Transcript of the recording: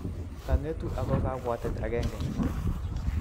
Kangetu ago kabwatet agenge